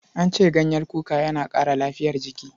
An ce ganyen kuka yana ƙara lafiyar jiki.